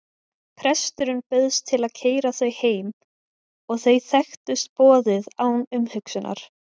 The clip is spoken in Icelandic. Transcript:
Presturinn bauðst til að keyra þau heim og þau þekktust boðið án umhugsunar.